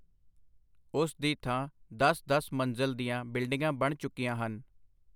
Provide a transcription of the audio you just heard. ਉਸ ਦੀ ਥਾਂ ਦਸ-ਦਸ ਮੰਜ਼ਲ ਦੀਆਂ ਬਿਲਡਿੰਗਾਂ ਬਣ ਚੁੱਕੀਆਂ ਹਨ.